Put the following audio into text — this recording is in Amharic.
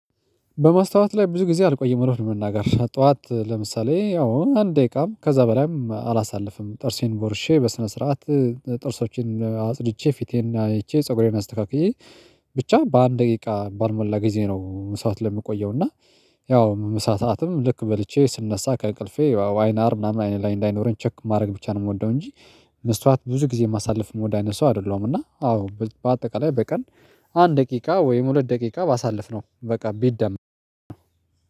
በመስታወት ላይ ብዙ ጊዜ አልቆይም እውነት ለመናገር ጠዋት ለምሳሌ ያው አንድ ደቂቃም ከዛ በላይም አላሳልፍም ጥርሴን ቦርሼ በስነ ስርዓት ጥርሶቼን አጽድቼ ፊቴን አይቼ ፀጉሬን አስተካክዬ ብቻ በአንድ ደቂቃ ባልሞላ ጊዜ ነው። መስታወት ለይ ምቆየው እና ያው መስዋዕትም ልክ በልቼ ስነሳ ከእቅልፌ አይናር ምናምን አይኔ ላይ እንዳይኖረኝ ቼክ ማድረግ ብቻ ነው የምወደው እንጂ። መስተዋት ብዙ ጊዜ የማሳልፍ የምወድ አይነት ሰው አይደለሁ። እና አዎ በአጠቃላይ በቀን አንድ ደቂቃ ወይም ሁለት ደቂቃ ባሳልፍነውበቀን ቢደመር